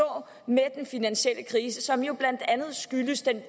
med den finansielle krise som jo blandt andet skyldtes den